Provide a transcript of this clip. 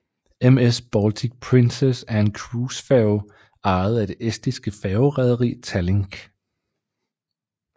MS Baltic Princess er en cruisefærge ejet det estiske færgerederi Tallink